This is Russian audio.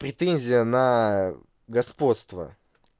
претензия на господство